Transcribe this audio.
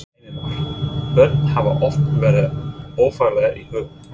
Heimir Már: Börn hafa oft verið ofarlega í huga?